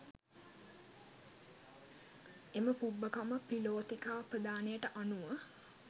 එම පුබ්බකම්ම පිලෝතිකාපදානයට අනුව